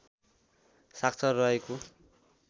साक्षर रहेको